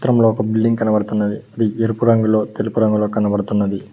చిత్రంలో ఒక బిల్డింగ్ కనబడుతున్నది అది ఎరుపు రంగులో తెలుపు రంగులో కనబడుతున్నది.